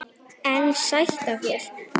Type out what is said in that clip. En sætt af þér!